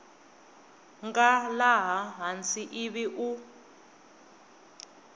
nga laha hansi ivi u